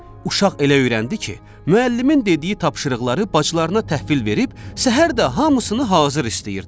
Uşaq elə öyrəndi ki, müəllimin dediyi tapşırıqları bacılarına təhvil verib, səhər də hamısını hazır istəyirdi.